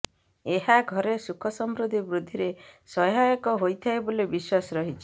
ଏହା ଘରେ ସୁଖ ସମୃଦ୍ଧି ବୃଦ୍ଧିରେ ସହାୟକ ହୋଇଥାଏ ବୋଲି ବିଶ୍ୱାସ ରହିଛି